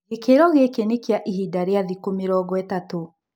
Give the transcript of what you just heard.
Gĩkĩro gĩkĩ nĩ kia ihinda rĩa thikũ mũrongo ĩtatũ.